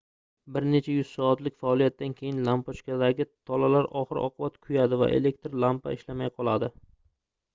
bir nech yuz soatlik faoliyatdan keyin lampochkadagi tolalar oxir-oqibat kuyadi va elektr lampa ishlamay qoladi